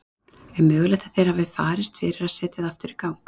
Er mögulegt að það hafi farist fyrir að setja það í gang aftur?